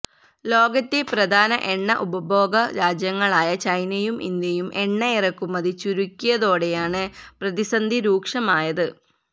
ലോകത്തെ പ്രധാന എണ്ണ ഉപഭോഗ രാജ്യങ്ങളായ ചൈനയും ഇന്ത്യയും എണ്ണ ഇറക്കുമതി ചുരുക്കിയതോടെയാണ് പ്രതിസന്ധി രൂക്ഷമായത്